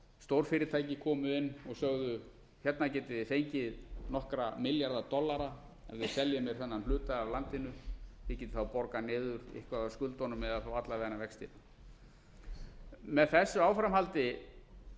stórfyrirtæki komu inn og sögðu hérna getið þið fengið nokkra milljarða dollara ef þið seljið mér þennan hluta af landinu þið getið þá borgað niður eitthvað af skuldunum eða þá alla vega vextina með þessu áframhaldi